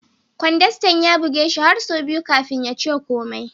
Kwandastan ya buge shi har sau biyu kafin ya ce komai.